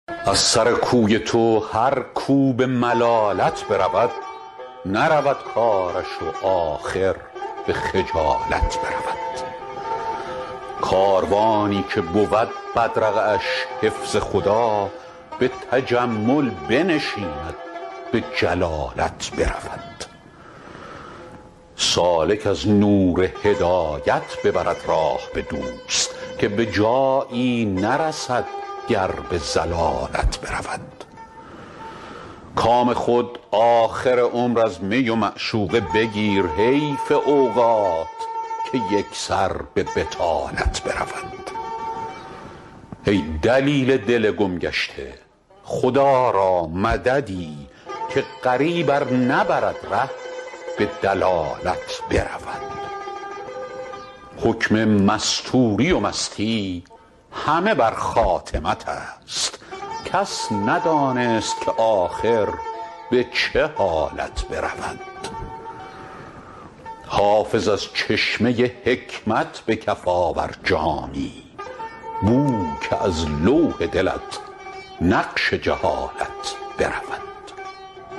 از سر کوی تو هر کو به ملالت برود نرود کارش و آخر به خجالت برود کاروانی که بود بدرقه اش حفظ خدا به تجمل بنشیند به جلالت برود سالک از نور هدایت ببرد راه به دوست که به جایی نرسد گر به ضلالت برود کام خود آخر عمر از می و معشوق بگیر حیف اوقات که یک سر به بطالت برود ای دلیل دل گم گشته خدا را مددی که غریب ار نبرد ره به دلالت برود حکم مستوری و مستی همه بر خاتمت است کس ندانست که آخر به چه حالت برود حافظ از چشمه حکمت به کف آور جامی بو که از لوح دلت نقش جهالت برود